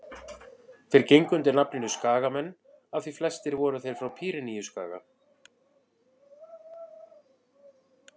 þeir gengu undir nafninu skagamenn því flestir voru þeir frá pýreneaskaga